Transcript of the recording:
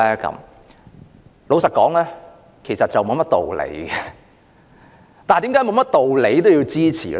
坦白說，其實沒有甚麼道理，但為甚麼沒有道理亦要支持呢？